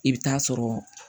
I bɛ taa sɔrɔ